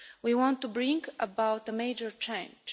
We want to bring about a major change.